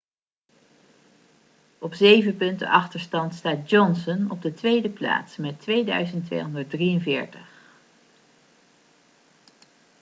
op zeven punten achterstand staat johnson op de tweede plaats met 2.243